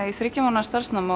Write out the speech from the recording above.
í þriggja mánaða starfsnám